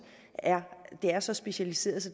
er er så specialiseret